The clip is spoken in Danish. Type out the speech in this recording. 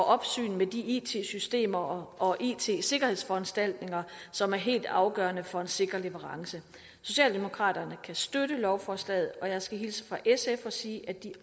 opsyn med de it systemer og it sikkerhedsforanstaltninger som er helt afgørende for en sikker leverance socialdemokraterne kan støtte lovforslaget og jeg skal hilse fra sf og sige at de